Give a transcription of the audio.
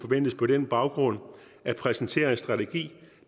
på den baggrund vil præsentere en strategi